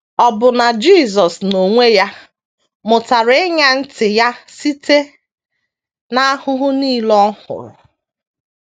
Ọbụna Jisọs n’onwe ya “ mụtara ịṅa ntị Ya site n’ahụhụ nile Ọ hụrụ. ”